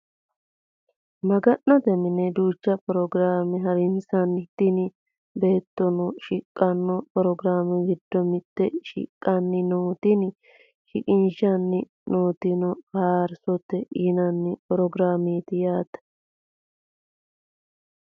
Maga'note mine duucha programe harinsanni. Tini beettono shiqqano programe giddo mitte shiqishani no. Tini shiqishshani nootino faarsiisate yinanni programeeti yaate.